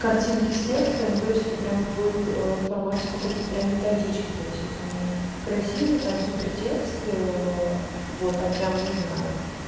картинки с текстом и то есть это прямо будет в формате какой прям методички то есть это не красивые там супер текст вот это прям не знаю